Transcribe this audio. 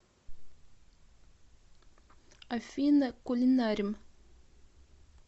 афина кулинарим